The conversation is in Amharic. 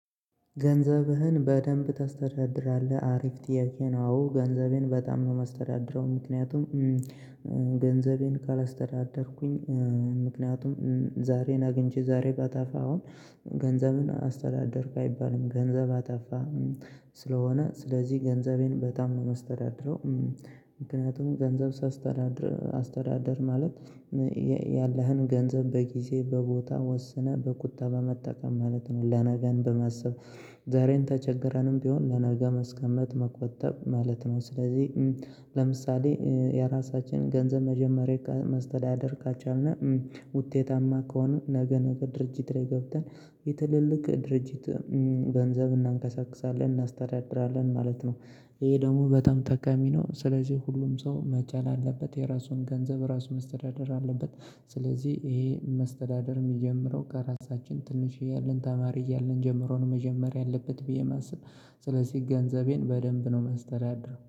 ገንዘብህን በደንብ ታስተዳድራለህ አሪፍ ጥያቄ ነው? አዎ ገንዘቤን በጣም ነው የማስተዳድረው ምክንያቱም ገንዘቤን ካላስተዳደርኩኝ ምክንያቱም ዛሬን አግቼ ዛሬ ባጠፋ አሁን ገንዘብን አስተዳደርክ አይባልም ገንዘብ አጠፋ ስለሆነ ስለዚህ ገንዘቤን በጣም ነው የማስተዳድረው። ምክንያቱም ገንዘብ ሳስተዳድር አስተዳደር ማለት ያለህን ገንዘብ በጊዜ በቦታ ወስነህ በቁጠባ በመጠቀም ማለት ነው። ለነገን በማሰብ ዛሬን ተቸግረንም ቢሆን ለነገ ማስቀመጥ መቆጠብ ማለት ነው። ስለዚህ ለምሳሌ የራሳችንን ገንዘብ መጀመሪያ ማስተዳደር ካልቻልን እና ውጤታማ ከሆነ ነገ ነገ ድርጅት ላይ ገብተን የትልልቅ ድርጅት ገንዘብ እናንከሳክሳለን እናስተዳድራለን ማለት ነው። ይሄ ደግሞ በጣም ጠቃሚ ነው ስለዚህ ሁሉም ሰው መቻል አለበት የራሱን ገንዘብ ራሱ ማስተዳደር አለበት። ስለዚህ ይሄ መስተዳደር የሚጀምረው ከራሳችን ትንሽ እያልን ተማሪ እያልን ጀምሮ መጀመር ያለበት ብዬ ማስብ። ስለዚህ ገንዘቤን በደንብ ነው ማስተዳድረው